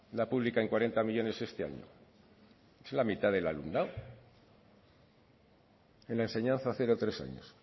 la publica en cuarenta millónes este año es la mitad del alumnado en la enseñanza cero tres años